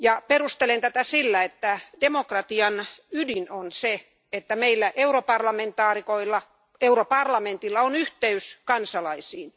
Perustelen tätä sillä, että demokratian ydin on se, että meillä europarlamentaarikoilla ja europarlamentilla on yhteys kansalaisiin.